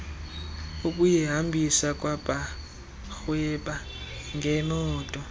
ukuyihambisa kwabarhweba ngeemoto